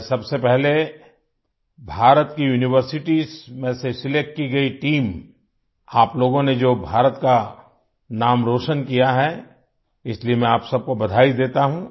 मैं सबसे पहले भारत की यूनिवर्सिटीज में से सिलेक्ट की गई टीम आप लोगों ने जो भारत का नाम रोशन किया है इसलिए मैं आप सबको बधाई देता हूँ